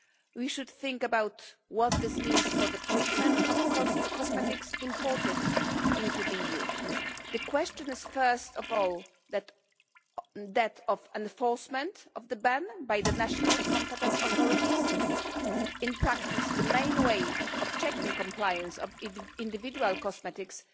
We should think about what this means for the treatment of cosmetics imported into the EU. The question is first of all that of enforcement of the ban by the national competent authorities. In practice, the main way of checking compliance of individual cosmetics